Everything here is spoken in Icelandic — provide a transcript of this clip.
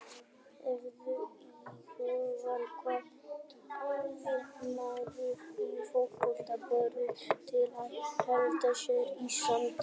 Hefurðu íhugað hvað atvinnumaður í fótbolta borðar til að halda sér í standi?